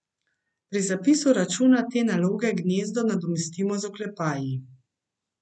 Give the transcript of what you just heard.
Pri zapisu računa te naloge gnezdo nadomestimo z oklepaji.